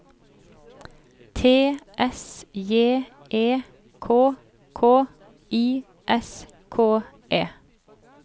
T S J E K K I S K E